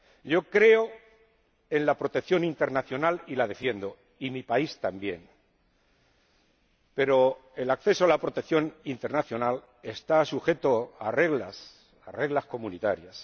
Yo creo en la protección internacional y la defiendo —y mi país también—, pero el acceso a la protección internacional está sujeto a reglas comunitarias.